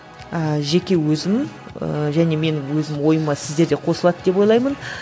ііі жеке өзім ііі және менің өзім ойыма сіздер де қосылады деп ойлаймын